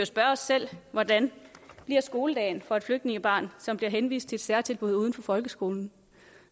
spørge os selv hvordan skoledagen bliver for et flygtningebarn som bliver henvist til et særtilbud uden for folkeskolen